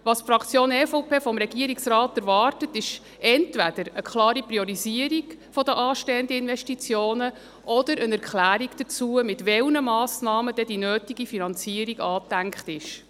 Was die EVP-Fraktion vom Regierungsrat erwartet, ist entweder eine klare Priorisierung der anstehenden Investitionen oder eine Erklärung dazu, mit welchen Massnahmen die nötige Finanzierung angedacht ist.